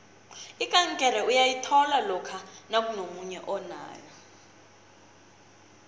ikankere uyayithola lokha nakunomunye onayo